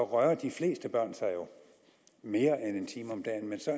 rører de fleste børn sig jo mere end en time om dagen men så